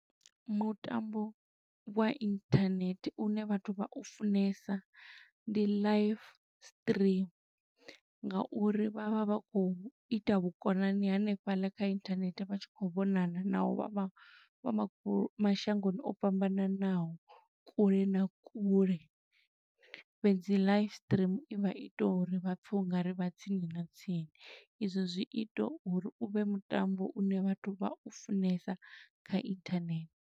Mutambo wa inthanethe une vhathu vha u funesa, ndi live stream. Nga uri vha vha vha khou ita vhukonani hanefhaḽa kha inthanethe, vha tshi khou vhonana, naho vha vha vha mashangoni o fhambananaho kule na kule. Fhedzi live stream i vha i ita uri vha pfe u nga ri vha tsini na tsini, i zwo zwi ita uri u vhe mutambo une vhathu vha u funesa kha inthanethe.